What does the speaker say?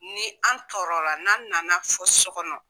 Ni an tɔɔrɔla ni an nana fɔ so kɔnɔ.